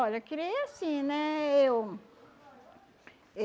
Olha, criei assim, né? Eu